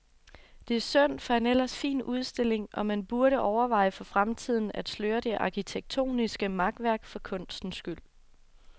Det er synd for en ellers fin udstilling og man burde overveje for fremtiden at sløre det arkitektoniske makværk, for kunstens skyld.